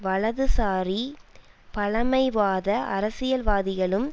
வலதுசாரி பழமைவாத அரசியல்வாதிகளும்